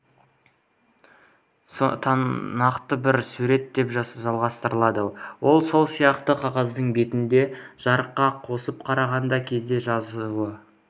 нақты бір сурет деп жалғастырды ол сол сияқты қағаздың бетінде жарыққа тосып қараған кезде жазуы